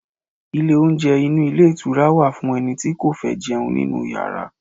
Ilé oúnjẹ inú ilé ìtura wà fún ẹni tí kò fẹ́ jẹun nínú Ìyàrá.